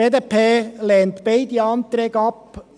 Die BDP lehnt beide Anträge ab.